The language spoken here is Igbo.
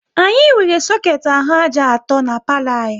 Anyị nwere soket ahụ ájá atọ n'palo anyị